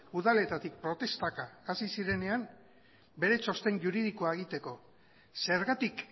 udaletatik protestaka hasi zirenean beste txosten juridikoa egiteko zergatik